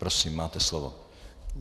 Prosím, máte slovo.